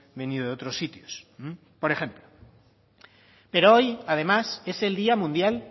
venido de otros sitios por ejemplo pero hoy además es el día mundial